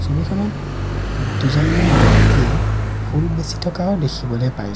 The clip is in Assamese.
ছবিখনত দুজনমান ব্যক্তিয়ে ফুল বেচি থকাও দেখিবলে পাইছোঁ।